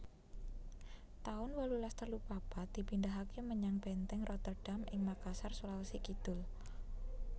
taun wolulas telu papat dipindahaké menyang Bèntèng Rotterdam ing Makassar Sulawesi Kidul